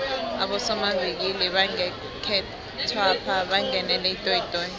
abosomavikili bangekhethwapha bangenele itoyitoyi